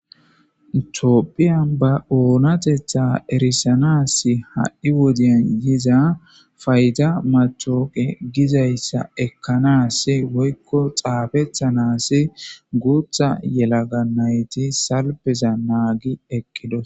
toopphiyan ba oonatetha erisanas ha7i wodiyan yiza fayda matooqe gizayssa ekkanas woykko xaafethanas guutha yelaga nayti salpeza naagi eqqidos